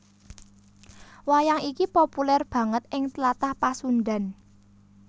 Wayang iki populèr banget ing Tlatah Pasundhan